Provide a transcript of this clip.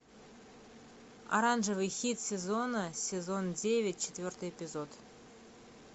оранжевый хит сезона сезон девять четвертый эпизод